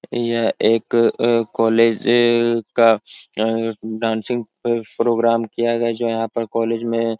यह एक अ अ कोलेज ए-ए का अ-अ डांसिंग अ प्रोग्राम किया गया है जो यहाँ पर कोलेज में --